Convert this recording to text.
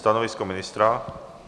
Stanovisko ministra?